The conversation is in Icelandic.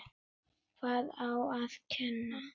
Hvað á að kenna?